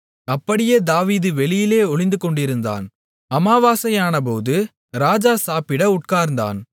அப்படியே தாவீது வெளியிலே ஒளிந்துகொண்டிருந்தான் அமாவாசையானபோது ராஜா சாப்பிட உட்கார்ந்தான்